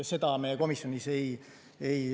Seda me komisjonis ei täpsustanud.